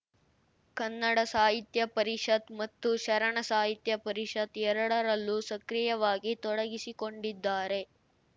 ಕನ್ನಡ ಸಾಹಿತ್ಯ ಪರಿಷತ್‌ ಮತ್ತು ಶರಣ ಸಾಹಿತ್ಯ ಪರಿಷತ್‌ ಎರಡರಲ್ಲೂ ಸಕ್ರಿಯವಾಗಿ ತೊಡಗಿಸಿಕೊಂಡಿದ್ದಾರೆ